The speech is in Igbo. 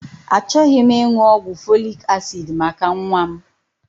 Achọghị m ịṅụ ọgwụ folik asid maka nwa m.